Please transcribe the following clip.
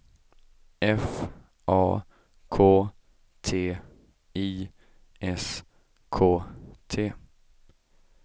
F A K T I S K T